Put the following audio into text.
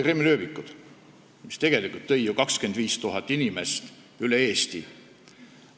"Kremli ööbikuid" tuli vaatama ju 25 000 inimest üle Eesti.